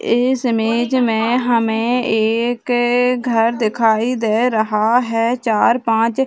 इस इमेज मे हमे एक घर दिखाई दे रहा है चार पांच --